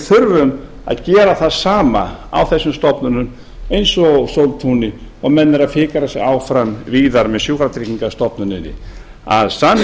þurfum að gera það sama á þessum stofnunum eins og sóltúni og menn eru að fikra sig áfram víðar með sjúkratryggingastofnuninni að